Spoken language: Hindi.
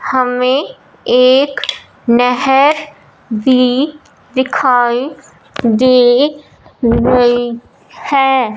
हमें एक नहर भी दिखाई दे रही है।